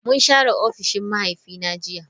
Mun share ofishin mahaifina jiya.